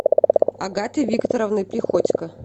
агаты викторовны приходько